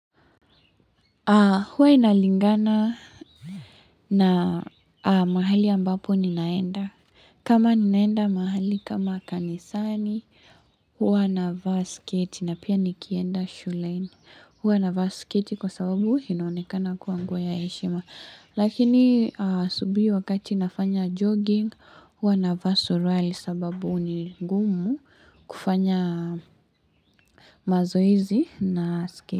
Huwa inalingana na mahali ambapo ninaenda. Kama ninaenda mahali, kama kanisani, huwa na vaa sketi na pia nikienda shulaini. Huwa na vaa skate kwa sababu inaonekana kuwa nguo ya heshima. Lakini asubihi wakati nafanya jogging, huwa na vaa surali sababu ni ngumu kufanya mazoizi na skate.